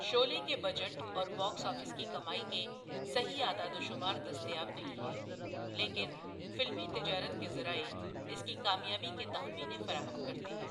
شعلے کے بجٹ اور box office کی کمائی کے صحیح اعداد و شمار دستیاب نہیں ہیں، لیکن فلمی تجارت کے ذرائع اس کی کامیابی کے تخمینے فراہم کرتے ہیں۔